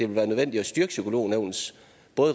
være nødvendigt at styrke psykolognævnets